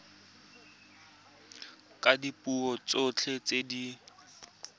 ka dipuo tsotlhe tse di